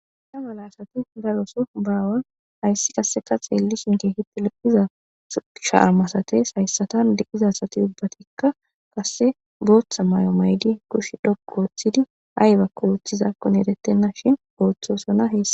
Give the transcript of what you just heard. Da mala asati daroso baawan hayssi kasse ka xeeli shinke hitti loqiza shaamasates hayssatan diqiza asati ubbatikka kasse booththa may'o maydi kush dhok ooththidi haybakko wooththizakkon erettenna shin gooththosona heea